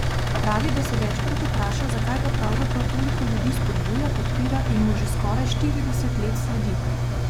Pravi, da se večkrat vpraša, zakaj ga pravzaprav toliko ljudi spodbuja, podpira in mu že skoraj štirideset let sledi.